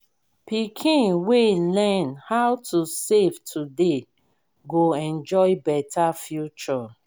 pikin wey learn how to save today go enjoy beta future.